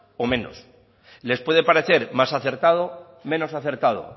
o menos les puede parecer más acertado menos acertado